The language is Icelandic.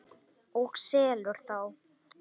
Og selur þá.